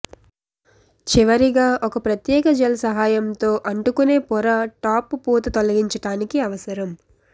చివరిగా ఒక ప్రత్యేక జెల్ సహాయంతో అంటుకునే పొర టాప్ పూత తొలగించడానికి అవసరం